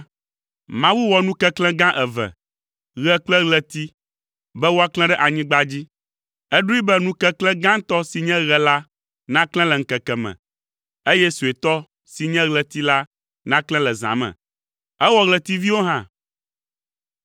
Mawu wɔ nu keklẽ gã eve: ɣe kple ɣleti, be woaklẽ ɖe anyigba dzi. Eɖoe be nu keklẽ gãtɔ si nye ɣe la naklẽ le ŋkeke me, eye suetɔ si nye ɣleti la naklẽ le zã me. Ewɔ ɣletiviwo hã.